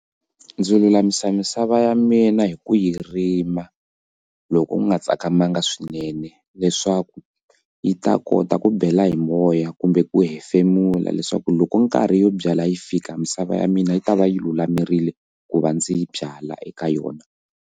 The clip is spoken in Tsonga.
Ndzi lulamisa misava ya mina hi ku yi rima loko ku nga tsakamaka swinene leswaku yi ta kota ku bela hi moya kumbe ku hefemula leswaku loko nkarhi yo byala yi fika misava ya mina yi ta va yi lulamerile ku va ndzi yi byala eka yona.